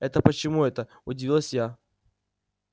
это почему это удивилась я